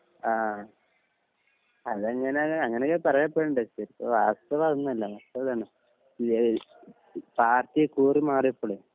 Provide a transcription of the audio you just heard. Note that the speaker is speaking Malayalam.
ആ അതെങ്ങനെണ് അങ്ങനയൊക്കെ പറയാ പേട്ണ്ട് ശരിക്കും വാസ്തവതൊന്നുല്ല വാസ്തവം ഇതന്നെ ഇതേ പാർട്ടി കൂർ മാറിയപ്പളേ